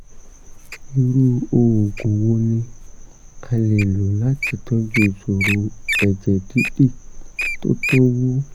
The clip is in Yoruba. irú oògùn wo ni a le lò láti tọ́jú ìṣòro ẹ̀jẹ̀ dídì tó tún wú?